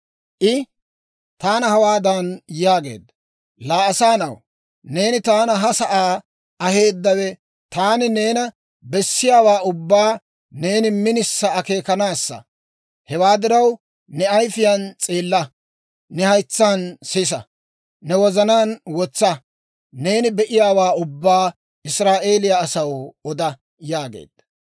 I taana hawaadan yaageedda; «Laa asaa na'aw, neena taani ha sa'aa aheeddawe taani neena bessiyaawaa ubbaa neeni minisa akeekanaassa. Hewaa diraw, ne ayifiyaan s'eella; ne haytsaan sisa; ne wozanaan wotsa. Neeni be'iyaawaa ubbaa Israa'eeliyaa asaw oda» yaageedda.